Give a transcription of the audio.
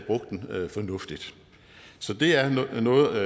havde fornuftigt så det er noget